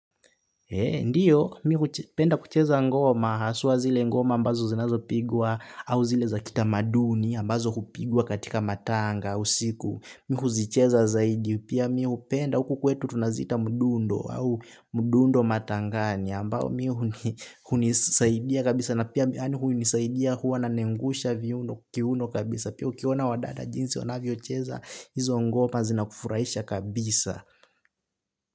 Ndio, mimi hupenda kucheza ngoma, haswa zile ngoma ambazo zinazoweza pigwa au zile za kitamaduni ambazo hupigwa katika matanga, usiku, mimi huzicheza zaidi, pia mimi hupenda, huku kwetu tunazita mudundo au mudundo matangani, ambao mimi hunisaidia kabisa, na pia mimi hunisaidia huwananengusha kiuno kiuno kabisa, pia ukiwaona wadada jinsi wanavyocheza, hizo ngoma zinakufuraisha kabisa.